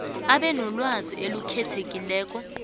abe nolwazi olukhethekile